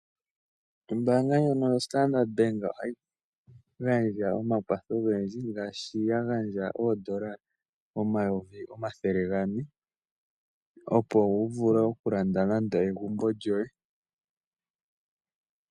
Ombaanga ndjono yoStandard Bank ohayi gandja omakwatho ogendji, ngaashi ya gandja oondola omayovi omathele gane, opo wu vule okulanda nande egumbo lyoye.